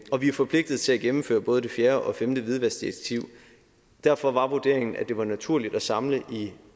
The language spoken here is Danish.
og vi er forpligtet til at gennemføre både det fjerde og det femte hvidvaskdirektiv derfor var vurderingen at det var naturligt at samle det